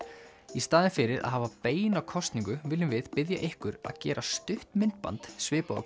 í staðinn fyrir að hafa beina kosningu viljum við biðja ykkur að gera stutt myndband svipað og